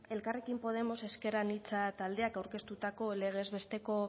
elkarrekin podemos ezker anitza taldeak aurkeztutako legez besteko